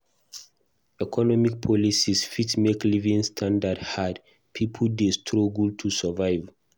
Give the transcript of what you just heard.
Economic policies fit make living standard hard; pipo dey struggle to survive.